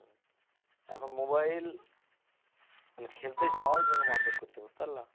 এখন mobile মানে খেলতে যাওয়ার জন্য মারধর করছে বুঝতে পারলা?